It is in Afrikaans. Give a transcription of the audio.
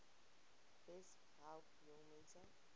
besp help jongmense